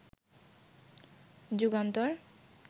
Jugantor